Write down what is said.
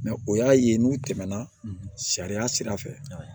o y'a ye n'u tɛmɛna sariya sira fɛ